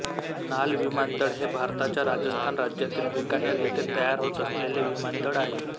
नाल विमानतळ हे भारताच्या राजस्थान राज्यातील बिकानेर येथे तयार होत असलेले विमानतळ आहे